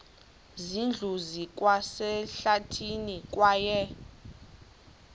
zindlu zikwasehlathini kwaye